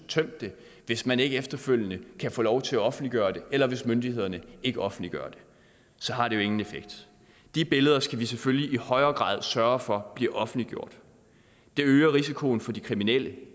tømt det hvis man ikke efterfølgende kan få lov til at offentliggøre dem eller hvis myndighederne ikke offentliggør dem så har det jo ingen effekt de billeder skal vi selvfølgelig i højere grad sørge for bliver offentliggjort det øger risikoen for de kriminelle